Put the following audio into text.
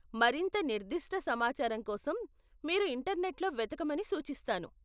మరింత నిర్దిష్ట సమాచారం కోసం మీరు ఇంటర్నెట్లో వెతకమని సూచిస్తాను .